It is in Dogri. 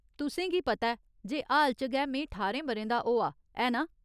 तुसेंगी पता ऐ जे हाल च गै में ठारें ब'रें दा होआ, ऐ ना ?